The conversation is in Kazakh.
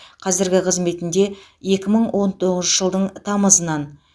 қазіргі қызметінде екі мың он тоғызыншы жылдың тамызынан